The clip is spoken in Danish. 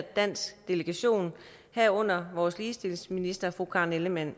dansk delegation herunder vores ligestillingsminister fru karen ellemann